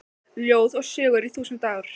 Ljóð og sögur í þúsund ár